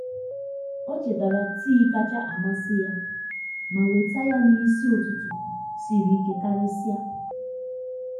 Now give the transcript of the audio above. ọ chetara tii kacha amasị ya ma weta ya n’ụtụtụ siri ike karịsịa.